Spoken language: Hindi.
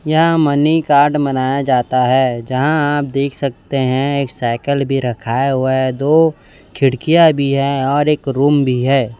यहाँ मनी कार्ड मनाया जाता हैं जहाँ आप देख सकते हैं एक साइकल भीं रखाया हुआ हैं दो खिड़कियाँ भीं हैं और एक रूम भीं हैं।